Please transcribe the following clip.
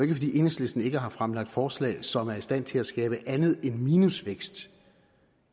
enhedslisten ikke har fremlagt forslag som er i stand til at skabe andet end minusvækst